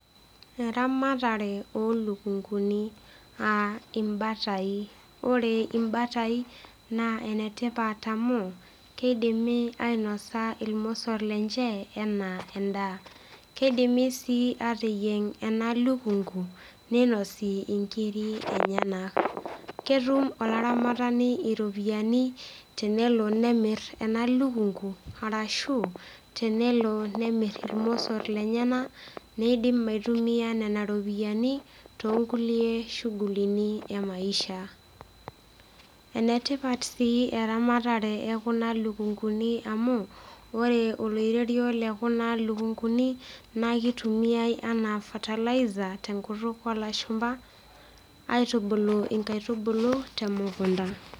Eramatare olukunguni aaa imbatai . Ore imbatai naa enetipat amu kidimi ainosa irmosor lenche enaa endaa. Kidimi sii ateyieng ena lukungu ninosi inkiri enyenak . Ketum olaramatani iropiyiani tenelo nemir ena lukungu arashu tenelo nemir irmosor lenyenak nindim aitumia nena ropiyiani toonkulie shugulini emaisha . Enetipat sii eramatare ekuna lukunguni amu ore oloirerio lekuna lukunguni naa kitumiay anaa fertilizer tenkutuk olashumba aitubulu nkaitubulu temukunta.